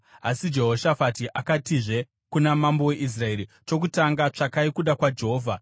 Asi Jehoshafati akatizve kuna mambo weIsraeri, “Chokutanga, tsvakai kuda kwaJehovha.”